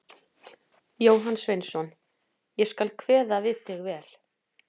Jóhann Sveinsson: Ég skal kveða við þig vel.